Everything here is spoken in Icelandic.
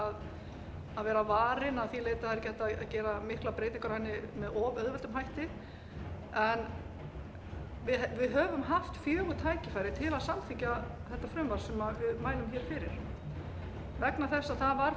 að vera varin að því leyti að það er ekki hægt að gera miklar breytingar á henni með of auðveldum hætti en við höfum haft fjögur tækifæri til að samþykkja þetta frumvarp sem við mælum fyrir vegna þess að það var